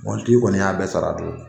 Mɔbilitigi kɔni y'a bɛɛ sara a don.